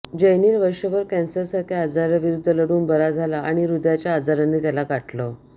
जयनील वर्षभर कॅन्सरसारख्या आजाराविरुद्ध लढून बरा झाला आणि ह्रदयाच्या आजाराने त्याला गाठलं